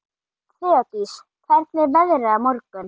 Þeódís, hvernig er veðrið á morgun?